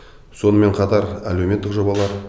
сонымен қатар әлеуметтік жобалар